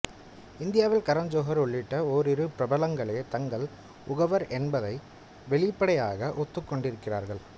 இந்தியாவில் கரண் ஜோஹர் உள்ளிட்ட ஓரிரு பிரபலங்களே தாங்கள் உகவர் என்பதை வெளிப்படையாக ஒத்துக்கொண்டிருக்கிறார்கள்